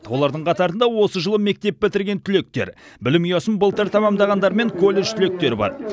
олардың қатарында осы жылы мектеп бітірген түлектер білім ұясын былтыр тәмамдағандар мен колледж түлектері бар